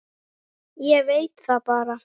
Ég veit það bara.